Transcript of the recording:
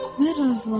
Mən razılaşdım.